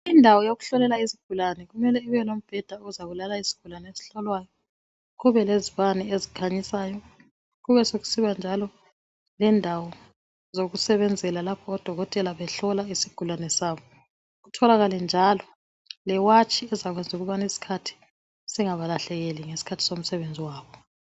Indawo yokuhlolela izigulane kumele ibe lombheda ozabulala izigulane ezihlolwayo kube leziBane ezikhanyisayo kuneaekusiba lendawo yokusebenzela lapho odokotela behlola izigulane zabo kutholakale njalo lewatshi ezakwenza ukubana isikhathi singabalahlekeli ngesikhathi somsebenzi wabo